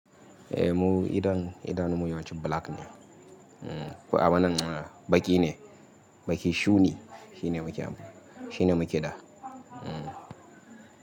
Eh mu idan, idanun mu yawanci black ne. Ko abin nan baki ne, baki shuni shine mu ke, shine mu ke da. Hmm.